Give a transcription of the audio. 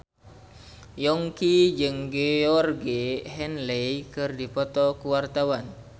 Yongki jeung Georgie Henley keur dipoto ku wartawan